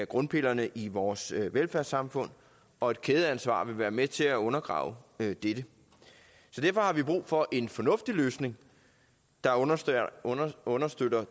grundpillerne i vores velfærdssamfund og et kædeansvar vil være med til undergrave dette dette så derfor har vi brug for en fornuftig løsning der understøtter understøtter